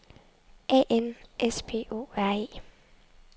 A N S P O R E